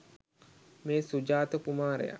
මේ සුජාත කුමාරයා